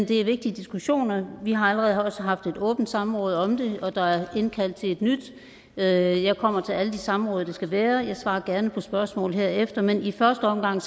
det er vigtige diskussioner og vi har også allerede haft et åbent samråd om det og der er indkaldt til et nyt jeg jeg kommer til alle de samråd det skal være og jeg svarer gerne på spørgsmål herefter men i første omgang